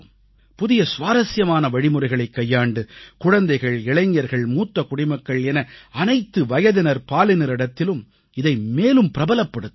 புதிய சுவாரசியமான வழிமுறைகளைக் கையாண்டு குழந்தைகள் இளைஞர்கள் மூத்த குடிமக்கள் என அனைத்து வயதினர்பாலினரிடத்திலும் இதை மேலும் பிரபலப்படுத்த வேண்டும்